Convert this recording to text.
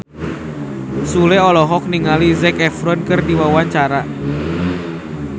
Sule olohok ningali Zac Efron keur diwawancara